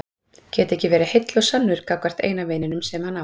Geta ekki verið heill og sannur gagnvart eina vininum sem hann á.